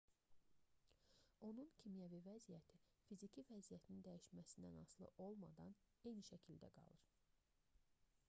onun kimyəvi vəziyyəti fiziki vəziyyətinin dəyişməsindən asılı olmadan eyni şəkildə qalır